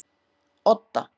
Odda